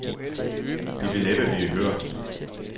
De ville næppe blive hørt.